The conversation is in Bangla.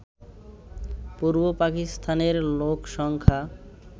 পূর্ব পাকিস্তানের লোকসংখ্যা